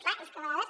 clar és que a vegades